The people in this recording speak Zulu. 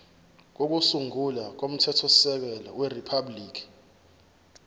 kokusungula komthethosisekelo weriphabhuliki